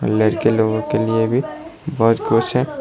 लड़के लोगों के लिए भी बहुत कुछ है।